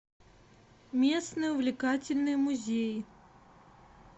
местный увлекательный музей